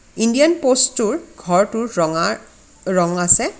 Indian post টোৰ ঘৰটো ৰঙা ৰং আছে.